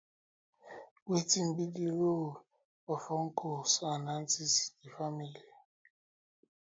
wetin be di di role of uncles and aunties in di family